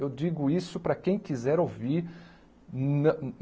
Eu digo isso para quem quiser ouvir.